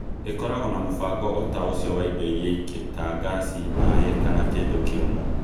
Ĩkoragwo na mũbango o ta ũcio wa indo iria ingĩ ta ngasi, maaĩ, kana kĩndũ kĩũmu.